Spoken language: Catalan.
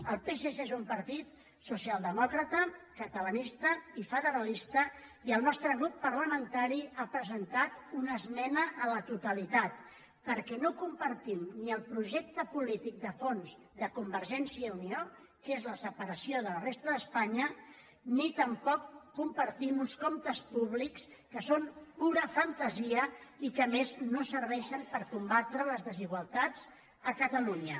el psc és un partit socialdemòcrata catalanista i fede·ralista i el nostre grup parlamentari hi ha presentat una esmena a la totalitat perquè no compartim ni el projecte polític de fons de convergència i unió que és la separació de la resta d’espanya ni tampoc compar·tim uns comptes públics que són pura fantasia i que a més no serveixen per combatre les desigualtats a ca·talunya